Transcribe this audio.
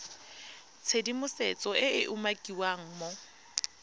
tshedimosetso e e umakiwang mo